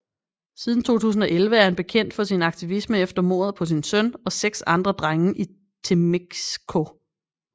Siden 2011 er han kendt for sin aktivisme efter mordet på sin søn og seks andre drenge i Temixco